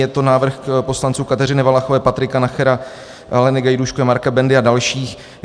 Je to návrh poslanců Kateřiny Valachové, Patrika Nachera, Aleny Gajdůškové, Marka Bendy a dalších.